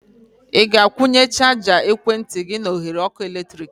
Ị ga-akwunye chaja ekwentị gị na oghere ọkụ eletrik?